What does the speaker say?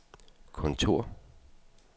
kontor